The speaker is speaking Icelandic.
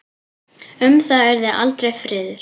Um það yrði aldrei friður!